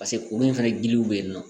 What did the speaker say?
Paseke olu fana giliw be yen nɔ